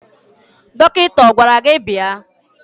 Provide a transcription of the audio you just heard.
Dọkịta ọ gwara gị bịa?